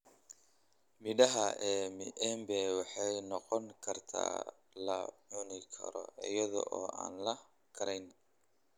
Midhaha ee miembe waxay noqon kartaa la cuni karo iyadoo aan la karayn.